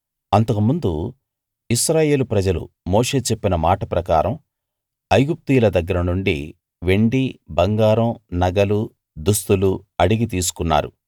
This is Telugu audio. అంతకుముందు ఇశ్రాయేలు ప్రజలు మోషే చెప్పిన మాట ప్రకారం ఐగుప్తీయుల దగ్గర నుండి వెండి బంగారం నగలు దుస్తులు అడిగి తీసుకున్నారు